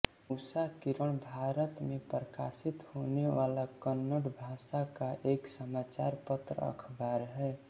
उषाकिरण भारत में प्रकाशित होने वाला कन्नड़ भाषा का एक समाचार पत्र अखबार है